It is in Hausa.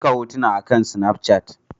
Aika hotuna akan Snafchat.